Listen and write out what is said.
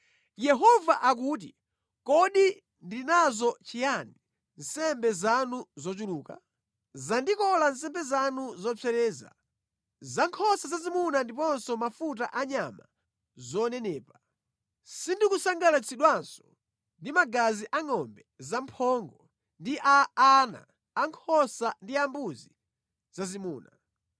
Yehova akuti, “Kodi ndili nazo chiyani nsembe zanu zochuluka?” “Zandikola nsembe zanu zopsereza za nkhosa zazimuna ndiponso mafuta a nyama zonenepa; sindikusangalatsidwanso ndi magazi angʼombe zamphongo ndi a ana ankhosa ndi ambuzi zazimuna.